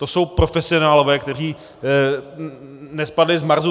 To jsou profesionálové, kteří nespadli z Marsu.